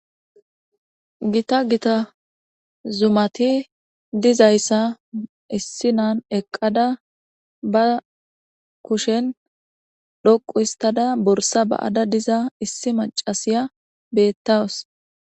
gita gita zumati dizayssa issinan eqqada ba kushen dhoqu histada borsa ba7ada diza issi macasiya beettaws